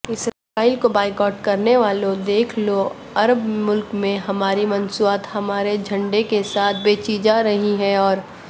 اسرائیل کابائیکاٹ کرنےوالودیکھ لوعرب ملک میں ہماری مصنوعات ہمارے جھنڈے کیساتھ بیچی جارہی ہیں اور